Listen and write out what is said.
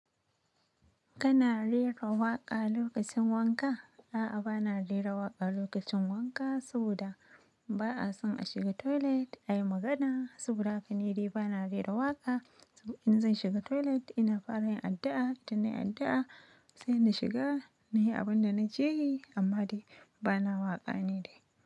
Kana rera waƙa lokacin wanka? A'a, bana rera waƙa lokacin wanka saboda ba'a son a shiga toilet ayi magana. Saboda haka nidai bana rera waka in zan shiga toilet ina fara yin addu'a, in nai addu'a sai in na shiga na yi abin da na je yi. Amma dai bana waƙa ni dai.